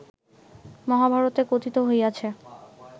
মহাভারতে কথিত হইয়াছে